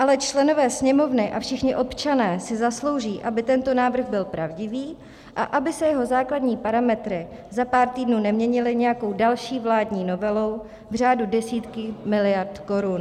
Ale členové Sněmovny a všichni občané si zaslouží, aby tento návrh byl pravdivý a aby se jeho základní parametry za pár týdnů neměnily nějakou další vládní novelou v řádu desítek miliard korun.